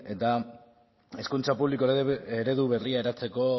eta hezkuntza publiko eredu berria eratzeko